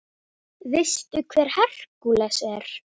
Veistu hver Hercules er?